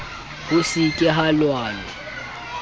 ho se ke ha lwanwa